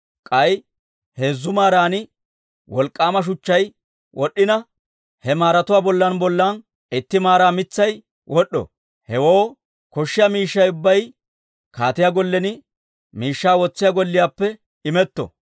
K'ay heezzu maaran wolk'k'aama shuchchay wod'd'ina, he maaratuwaa bollan bollanna itti maara mitsay wod'd'o. Hewoo koshshiyaa miishshay ubbay kaatiyaa gollen miishshaa wotsiyaa golliyaappe imetto.